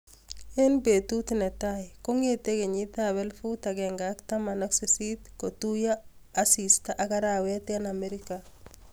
Eng petut netai kongetee kenyiit ap elefut agenge ak taman ak sisit ,kotuiyo asista ak arawet eng amerika